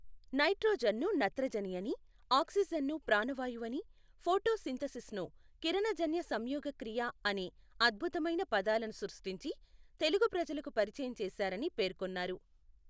నైట్రోజన్ను నత్రజని అని, ఆక్సీజన్ను ప్రాణవాయువని, ఫొటో సింథసిస్ను కిరణజన్య సంయోగక్రియ అనే అద్భుతమైన పదాలను సృష్టించి తెలుగు ప్రజలకు పరిచయం చేశారని పేర్కొన్నారు.